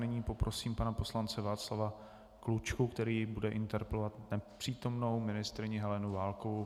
Nyní poprosím pana poslance Václava Klučku, který bude interpelovat nepřítomnou ministryni Helenu Válkovou.